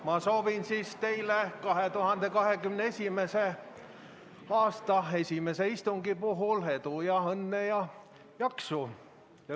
Ma soovin teile 2021. aasta esimese istungi puhul edu, õnne ja jaksu.